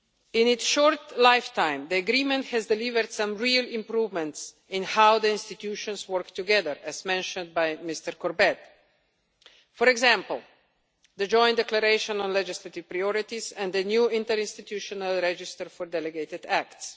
In its short lifetime, the agreement has delivered some real improvements in how the institutions work together, as mentioned by Mr Corbett, for example the Joint Declaration on Legislative Priorities and the new interinstitutional register for delegated acts.